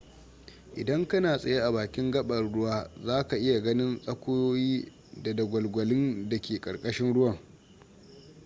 idan kana tsaye a bakin gabar ruwa za ka iya ganin tsakuyoyi ko dagwalgwalin da ke karkashin ruwan